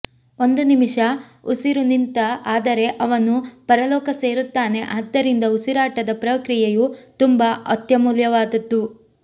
ಒಂದು ನಿಮಿಷ ಉಸಿರು ನಿಂತ ಆದರೆ ಅವನು ಪರಲೋಕ ಸೇರುತ್ತಾನೆ ಆದ್ದರಿಂದ ಉಸಿರಾಟದ ಪ್ರಕ್ರಿಯೆಯು ತುಂಬಾ ಅತ್ಯಮೂಲ್ಯವಾದದ್ದು